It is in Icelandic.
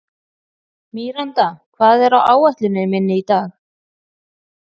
Míranda, hvað er á áætluninni minni í dag?